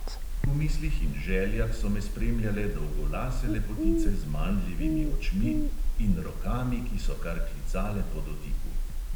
V mislih in željah so me spremljale dolgolase lepotice z mandljevimi očmi in rokami, ki so kar klicale po dotiku.